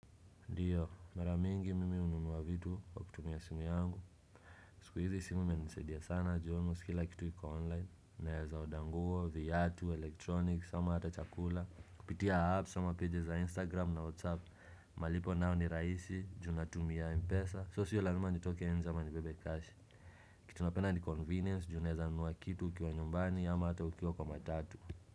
Ndyo, mara mingi mimi hununua vitu wa kutumia simu yangu, siku hizi simu imenisaidia sana juu almost kila kitu iku online, naeza oda nguo, viatu, electronics, sama hata chakula, kupitia apps, ama pages za instagram na whatsapp, malipo nao ni rahisi, juu natumia mpesa, so sio lazima nitoke nje ama nibebe cash, kitu napenda ni convenience, juu unaweza nunua kitu ukiwa nyumbani, ama hata ukiwa kwa matatu.